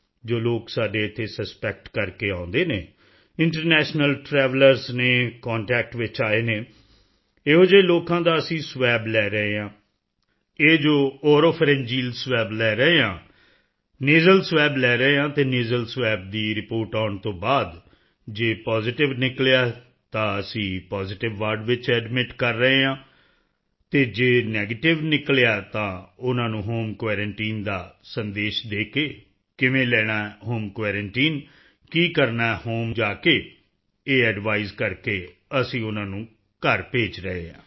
ਜੋ ਲੋਕ ਸਾਡੇ ਇੱਥੇ ਸਸਪੈਕਟ ਕਰਕੇ ਆਉਂਦੇ ਹਨ ਇੰਟਰਨੈਸ਼ਨਲ ਟ੍ਰੈਵਲਰਜ਼ ਹਨ ਕੰਟੈਕਟ ਵਿੱਚ ਆਏ ਹਨ ਅਜਿਹੇ ਲੋਕਾਂ ਦਾ ਅਸੀਂ ਸਵੈਬ ਲੈ ਰਹੇ ਹਾਂ ਇਹ ਜੋ ਓਰੋਫੈਰਿੰਜੀਅਲ ਸਵੈਬ ਲੈ ਰਹੇ ਹਾਂ ਜੇ ਪੋਜ਼ੀਟਿਵ ਤਾਂ ਅਸੀਂ ਪੋਜ਼ੀਟਿਵ ਵਾਰਡ ਵਿੱਚ ਐਡਮਿਟ ਕਰ ਰਹੇ ਹਾਂ ਅਤੇ ਨੈਗੇਟਿਵ ਨਿਕਲਿਆ ਤਾਂ ਉਸ ਨੂੰ ਹੋਮ ਕੁਆਰੰਟਾਈਨ ਦਾ ਸੰਦੇਸ਼ ਦੇ ਕੇ ਕਿੱਦਾ ਲੈਣਾ ਹੈ ਹੋਮ ਕੁਆਰੰਟਾਈਨ ਕੀ ਕਰਨਾ ਹੈ ਹੋਮ ਜਾ ਕੇ ਇਸ ਐਡਵਾਈਸ ਨਾਲ ਉਨ੍ਹਾਂ ਨੂੰ ਘਰ ਭੇਜ ਰਹੇ ਹਾਂ